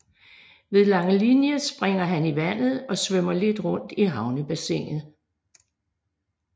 Ved Langelinie springer han i vandet og svømmer lidt rundt i havnebassinet